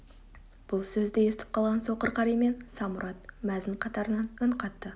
бұл сөзді естіп қалған соқыр қари мен самұрат мәзін қатарынан үн қатты